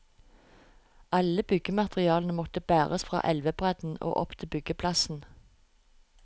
Alle byggematerialene måtte bæres fra elvebredden og opp til byggeplassen.